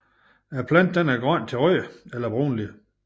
Planten er grøn til rød eller brunlig